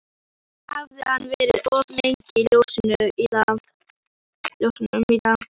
Kannski hafði hann verið of lengi í ljósunum í dag.